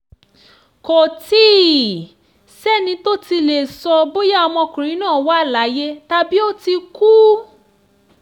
kò tí ì sẹ́ni tó tí ì lè sọ bóyá ọmọkùnrin náà wà láàyè tàbí ó ti kú